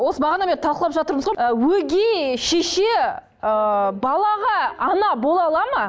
осы бағанадан бері талқылап жатырмыз ғой ы өгей шеше ы балаға ана бола алады ма